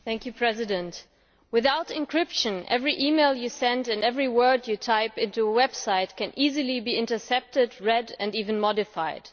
Mr President, without encryption, every e mail one sends and every word one types into a website can easily be intercepted, read and even modified.